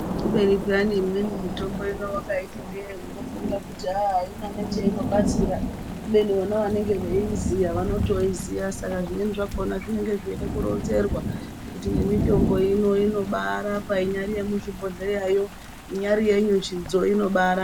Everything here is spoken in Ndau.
Kubeni peyani imweni mitombo vakaiti ndee unofunga kuti haa haina nechainobatsira. Kubeni vona vanenge veiiziya vanotoiziya saka zvimweni zvakona zvinonga zveida kuronzerwa. Kuti nemitombo ino inobara inyari yemuzvibhodhleyayo inyari yenyuchidzo inobara.